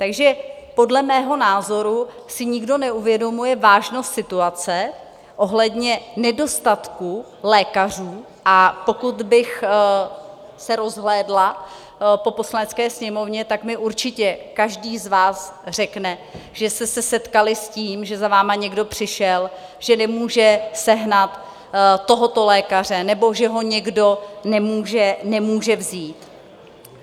Takže podle mého názoru si nikdo neuvědomuje vážnost situace ohledně nedostatku lékařů, a pokud bych se rozhlédla po Poslanecké sněmovně, tak mi určitě každý z vás řekne, že jste se setkali s tím, že za vámi někdo přišel, že nemůže sehnat tohoto lékaře nebo že ho někdo nemůže vzít.